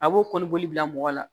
A b'o kɔni boli bila mɔgɔ la